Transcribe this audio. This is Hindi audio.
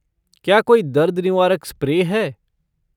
क्या कोई दर्द निवारक स्प्रे है?